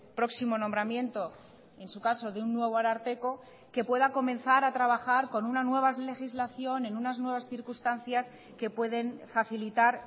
próximo nombramiento en su caso de un nuevo ararteko que pueda comenzar a trabajar con una nueva legislación en unas nuevas circunstancias que pueden facilitar